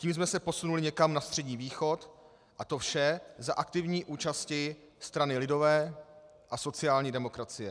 Tím jsme se posunuli někam na Střední východ, a to vše za aktivní účasti strany lidové a sociální demokracie.